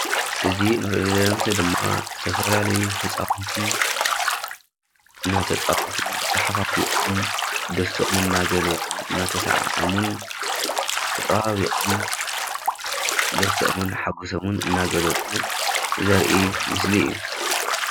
እዚ እንሪኦ ዘለና ምስሊ ድማ ዝተፈላለዩ ህፃዉንቲ እናተፃወቱ ተሓፋፊቆም ደስተኦም እናገለፁን እናተሰዓዓሙን ተጠባቢቖም ደስትኦምን ሓጎሶምን እናገለፁ ዘርኢ ምስሊ እዩ።